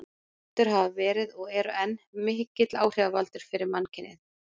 Rottur hafa verið, og eru enn, mikill áhrifavaldur fyrir mannkynið.